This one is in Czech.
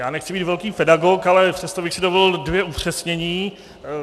Já nechci být velký pedagog, ale přesto bych si dovolil dvě upřesnění.